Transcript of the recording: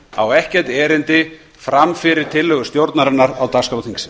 á ekkert erindi fram fyrir tillögu stjórnarinnar á dagskrá þingsins